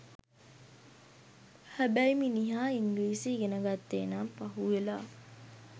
හැබැයි මිනිහා ඉංග්‍රීසි ඉගෙන ගත්තේ නම් පහු වෙලා.